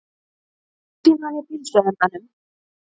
Rúsínan í pylsuendanum